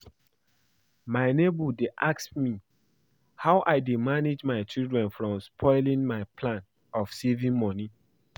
My neighbour dey ask me how I dey manage my children from spoiling my plan of saving money